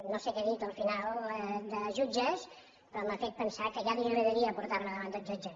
no sé què ha dit al final de jutges però m’ha fet pensar que ja li agradaria portar me davant d’un jutge